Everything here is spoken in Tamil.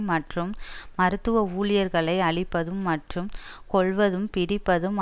மற்றும் மருத்துவ ஊழியர்களை அழிப்பதும் மற்றும் கொல்வதும் பிடிப்பதும்